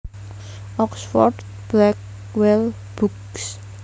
Oxford Blackwell Books